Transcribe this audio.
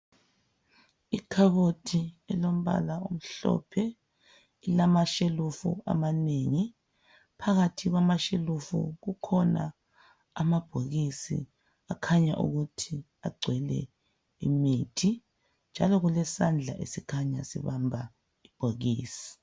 Ikhabothi elombala omhlophe, ilamashelifu amanengi. Phakathi kwamashelufu kukhonaa amabhokisi akhanya ukuthi agcwele imithi. Njalo kulesandla esikhanya sibamba ibhokisi.